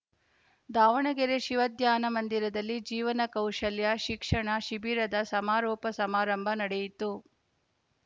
ದಾವಣಗೆರೆ ಶಿವ ಧ್ಯಾನ ಮಂದಿರದಲ್ಲಿ ಜೀವನ ಕೌಶಲ್ಯ ಶಿಕ್ಷಣ ಶಿಬಿರದ ಸಮಾರೋಪ ಸಮಾರಂಭ ನಡೆಯಿತು